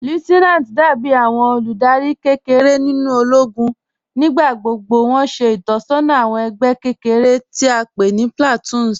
Lieutenanti dàbí àwọn olúdárì kẹ́kẹ̀rẹ̀ nínu òlógún. Nígbàgbọ́gbọ́ wọn ṣẹ̀ itọsọna àwọn ẹgbẹ kẹ́kẹ̀rẹ̀ tí a pẹ̀ ní "platoons"